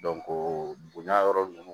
bonya yɔrɔ ninnu